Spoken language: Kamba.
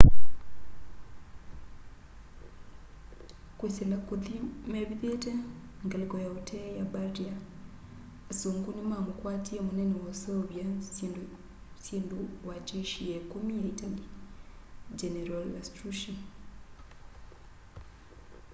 kwisila kuthi mevithite ngaliko ya utee ya bardia asungu ni mamukwatie munene wa useuvya syindu wa jeshi ya ikumi ya itali general lastucci